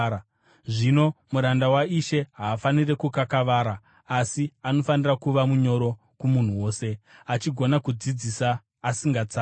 Zvino muranda waIshe haafaniri kukakavara; asi anofanira kuva munyoro kumunhu wose, achigona kudzidzisa, asingatsamwi.